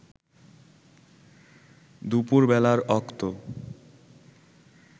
দুপুর বেলার অক্ত